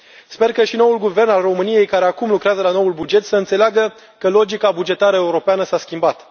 Sper ca și noul guvern al României, care acum lucrează la noul buget, să înțeleagă că logica bugetară europeană s a schimbat.